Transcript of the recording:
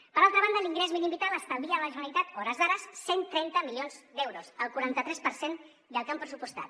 per altra banda l’ingrés mínim vital estalvia a la generalitat a hores d’ara cent i trenta milions d’euros el quaranta tres per cent del que han pressupostat